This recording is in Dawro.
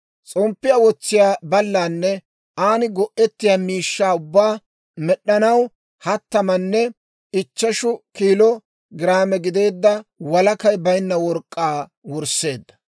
S'omppiyaa wotsiyaa ballanne an go'ettiyaa miishshaa ubbaa med'd'anaw hattamanne ichcheshu kiilo giraame gideedda walakay baynna work'k'aa wursseedda.